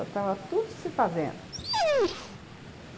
Estava tudo se fazendo, uhum.